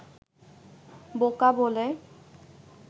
বোকা বলে